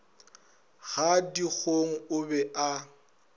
ga dikgong o be a